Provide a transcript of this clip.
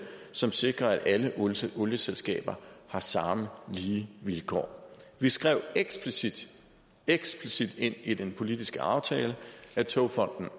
som sikrer at alle olieselskaber har samme lige vilkår vi skrev eksplicit eksplicit ind i den politiske aftale at togfonden